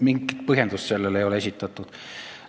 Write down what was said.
Mingit põhjendust sellele plaanile ei ole esitatud.